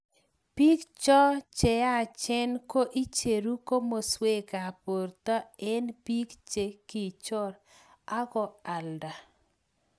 biik cho che yachen ko icheru komoswekab borto eng' biik che kichor aku alda